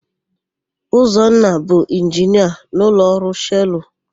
Ụzọnna bụ Inginia n'ụlọọrụ Shelụ.